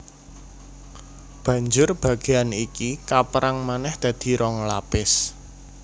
Banjur bagéan iki kapérang manèh dadi rong lapis